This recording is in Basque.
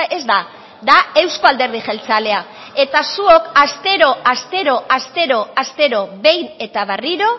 ez da da euzko alderdi jeltzalea eta zuok astero astero astero astero behin eta berriro